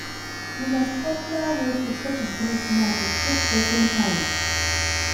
Di most popular way to take greet na to shake person hand